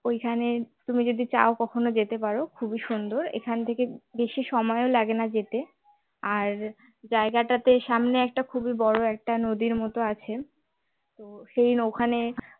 ঐখানে তুমি যদি চাও কখনো যেতে পারো খুবই সুন্দর এখান থেকে বেশি সময় ও লাগে না যেতে আর জায়গাটাতে সামনে একটা খুবই বড়ো একটা নদীর মতো আছে সেদিন ওখানে